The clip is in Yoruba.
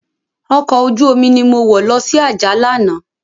Òkò ójùómi ni mó wò lòsi Ajah làná